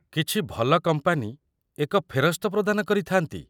କିଛି ଭଲ କମ୍ପାନୀ ଏକ ଫେରସ୍ତ ପ୍ରଦାନ କରିଥାନ୍ତି।